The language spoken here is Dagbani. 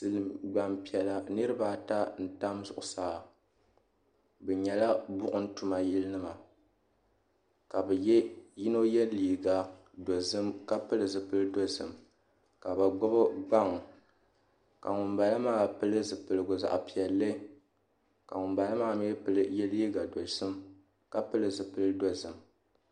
Gbanpiɛla niraba ata n tam zuɣusaa bi nyɛla buɣum tuma yili nima ka yino yɛ liiga dozim ka pili zipili dozim ka bi gbubi gbaŋ ka ŋunbala maa pili zipiligu zaɣ piɛlli ka ŋunbala maa mii yɛ liiga dozim ka pili zipili dozim